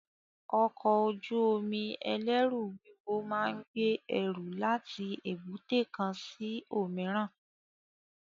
Ọkọ̀ ojú omi ẹlẹru wúwo máa ń gbé ẹrù láti èbúté kan sí òmíràn